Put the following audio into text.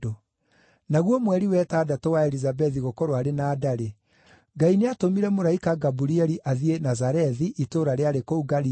Naguo mweri wa ĩtandatũ wa Elizabethi gũkorwo arĩ na nda-rĩ, Ngai nĩatũmire mũraika Gaburieli athiĩ Nazarethi itũũra rĩarĩ kũu Galili,